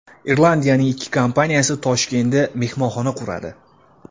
Irlandiyaning ikki kompaniyasi Toshkentda mehmonxona quradi.